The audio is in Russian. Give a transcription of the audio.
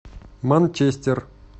манчестер